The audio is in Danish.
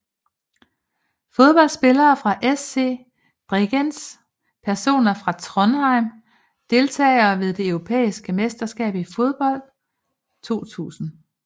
Fodboldspillere fra SC Bregenz Personer fra Trondheim Deltagere ved det europæiske mesterskab i fodbold 2000